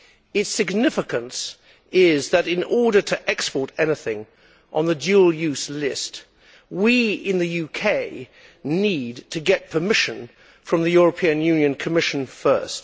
Its significance is that, in order to export anything on the dual use list, we in the UK need to get permission from the European Commission first.